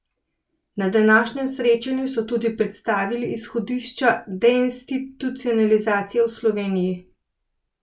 Na današnjem srečanju so tudi predstavili izhodišča deinstitucionalizacije v Sloveniji.